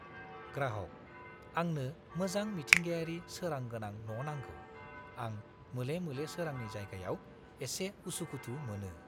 ग्राहग: "आंनो मोजां मिथिंगायारि सोरां गोनां न' नांगौ; आं मोले-मोले सोरांनि जायगायाव एसे उसुखुथु मोनो।"